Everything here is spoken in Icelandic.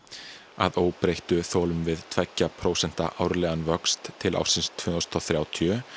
að óbreyttu þolum við tveggja prósenta árlegan vöxt til ársins tvö þúsund og þrjátíu